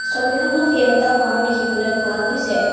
ছবিখনত কেইবাটাও ঘৰ দেখিবলৈ পোৱা গৈছে।